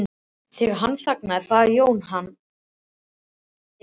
Þegar hann þagnaði bað Jón hann að endurtaka erindið.